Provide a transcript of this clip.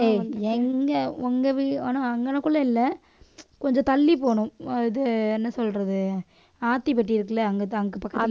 ஏய் எங்க உங்க வீடு ஆனா அங்கனக்குள்ள இல்லை கொஞ்சம் தள்ளி போணும். அஹ் இது என்ன சொல்றது ஆத்திப்பட்டி இருக்குல்ல அங்கதான் அங்க பக்கத்துல